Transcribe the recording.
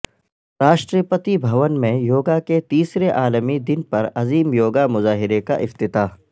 راشٹرپتی بھون میں یوگا کے تیسرے عالمی دن پر عظیم یوگا مظاہرہ کا افتتاح